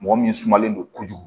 Mɔgɔ min sumalen don kojugu